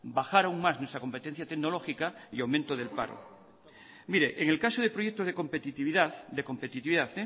bajar aún más nuestra competencia tecnológica y aumento del paro en el caso de proyectos de competitividad